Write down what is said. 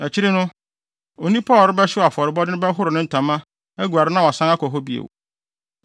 Akyiri no, onipa a ɔrebɛhyew afɔrebɔde no bɛhoro ne ntama, aguare na wasan akɔ beae hɔ bio.